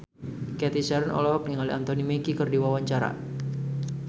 Cathy Sharon olohok ningali Anthony Mackie keur diwawancara